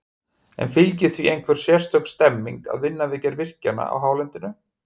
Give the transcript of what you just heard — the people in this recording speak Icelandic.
En fylgir því einhver sérstök stemning að vinna við gerð virkjana á hálendinu?